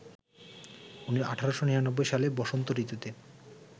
১৮৯৯ সালের বসন্ত ঋতুতে